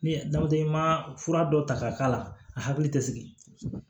Ni ma fura dɔ ta k'a k'a la a hakili tɛ sigi